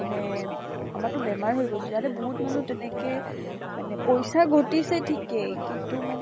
মানে আমাৰ তো বেমাৰ হৈ গৈছিলে । ইয়াতে বহুত মানুহ তেনেকে মানে পইছা ঘটিছে ঠিকেই কিন্তু মানে ।